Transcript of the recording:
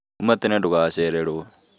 Uma tene ndũgacererwo